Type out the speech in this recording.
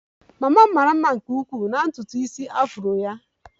Mama m mara mma nke ukwuu na ntutu isi afro ya